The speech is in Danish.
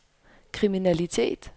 kriminalitet